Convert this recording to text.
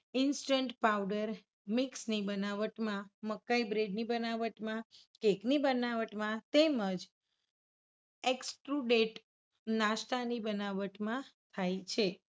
instant power mix ની બનાવટમાં મકાઇ bread બનાવટમાં, cake ની બનાવટમાં તેમજ excrudent નાસ્તાની બનાવટમાં થાય છે